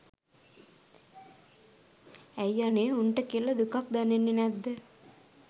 ඇයි අනේ උන්ට කියලා දුකක් දැනෙන්නෙ නැද්ද?